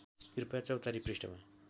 कृपया चौतारी पृष्ठमा